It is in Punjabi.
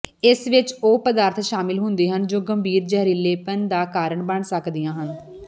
ਇਸ ਵਿਚ ਉਹ ਪਦਾਰਥ ਸ਼ਾਮਲ ਹੁੰਦੇ ਹਨ ਜੋ ਗੰਭੀਰ ਜ਼ਹਿਰੀਲੇਪਨ ਦਾ ਕਾਰਨ ਬਣ ਸਕਦੀਆਂ ਹਨ